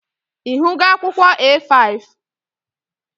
Ị hụgo akwụkwọ A5?